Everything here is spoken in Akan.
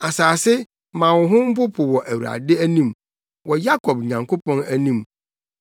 Asase, ma wo ho mpopo wɔ Awurade anim, wɔ Yakob Nyankopɔn anim,